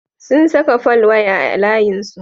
Sun saka folwaya a layinsu.